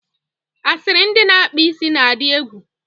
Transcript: asịrị ndị na-akpa isi na-adị egwu.